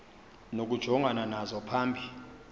nokujongana nazo phambi